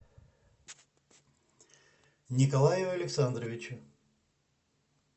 николаю александровичу